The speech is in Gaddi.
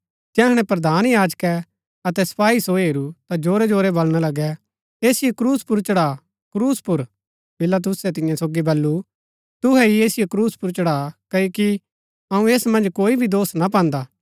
जैहणै प्रधान याजकै अतै सपाई सो हेरू ता जोरै जोरै बलणा लगै ऐसिओ क्रूस पुर चढ़ा क्रूस पुर पिलातुसै तियां सोगी बल्लू तुहै ही ऐसिओ क्रूस पुर चढ़ा क्ओकि अऊँ ऐस मन्ज कोई भी दोष ना पान्दा